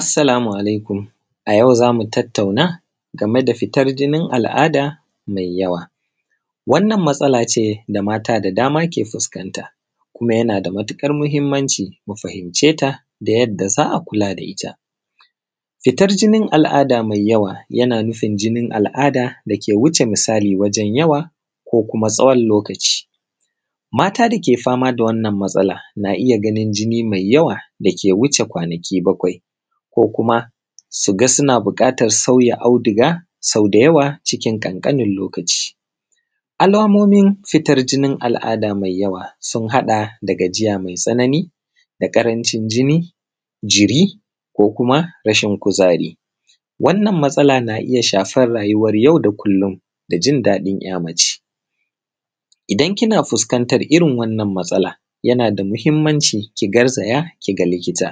Assalamu alaikum. A yau zamu tattauna game da fitar jinin al’ada mai yawa. Wannan matsala ce da mata da dama ke fuskanta, kuma yana da matuƙar mahimmanci mu fahimceta da yadda za a kula da ita. Fitar jinin al’ada mai yawa yana nufin jinin al’ada dake wuce misali wajen yawa ko kuma tsawon lokaci. Mata dake fama da wannan matsala na iya ganin jini mai yawa dake wuce kwanaki bakwai, ko kuma su ga suna bukatan sauya auduga sau da yawa cikin kankanin lokaci. Alamomin fitar jinin al’ada mai yawa sun haɗa da gajiya mai tsanani, da ƙarancin jini, jiri, ko kuma rashin kuzari. Wannan matsala na iya shafan rayuwan yau da kullum da jin daɗin ’ya mace. Idan kina fuskantan irin wannan matsala yana da muhimmanci ki garzaya ki ga likita.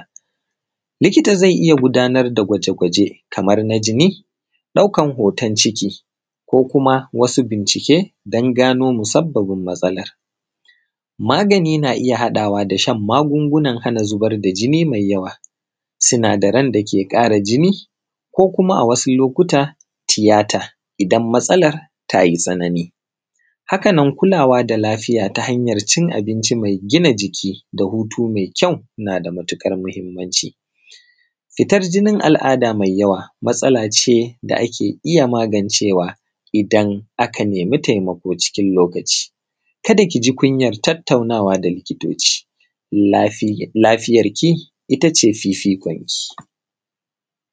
Likita zai iya gudanar da gwaje-gwaje kamar na jini, ɗaukan hoton ciki ko kuma wasu bincike don gano musabbabin matsalar. Magani na iya haɗawa da shan magungunan hana zubar da jini mai yawa, sinadaran da ke ƙara jini ko kuma a wasu lokuta tiyata idan matsalar tayi tsanani. Haka nan kulawa da lafiya ta hanyar cin abinci mai gina jiki da hutu mai kyau nada matuƙar mahimmanci. Fitar jinin al’ada mai yawa matsala ce da ake iya magancewa idan aka nemi taimako cikin lokaci. Kada ki ji kunyar tattaunawa da likitoci. Lafiyarki ita ce fifikonki.